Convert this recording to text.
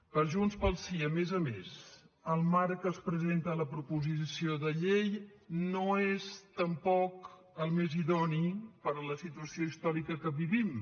per junts pel sí a més a més el marc en què es presenta la proposició de llei no és tampoc el més idoni per a la situació històrica que vivim